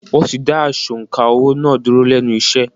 Wọ́n ti da asọ̀ǹkà owó” náà dúró lẹ́nu iṣẹ́.